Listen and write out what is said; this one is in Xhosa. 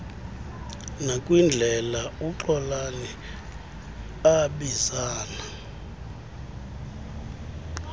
nakwindlela uxolani abizana